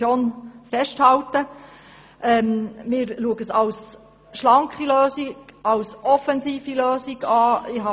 Wir betrachten unseren Vorstoss als schlanke und offensive Lösung.